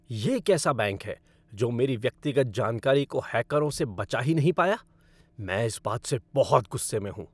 यह कैसा बैंक है जो मेरी व्यक्तिगत जानकारी को हैकरों से बचा ही नहीं पाया? मैं इस बात से बहुत गुस्से में हूँ।